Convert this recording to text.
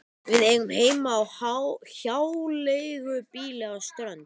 Við eigum heima á hjáleigubýli á Strönd.